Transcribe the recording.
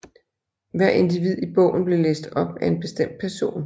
Hver individ i bogen blev læst op af en bestemt person